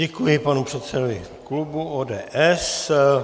Děkuji panu předsedovi klubu ODS.